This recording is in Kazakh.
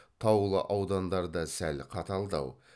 таулы аудандарда сәл қаталдау